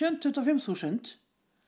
tuttugu og fimm þúsund